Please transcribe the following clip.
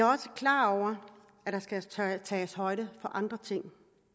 også klar over at der skal tages højde for andre ting